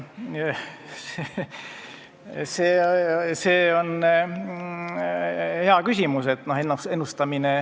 See on hea küsimus.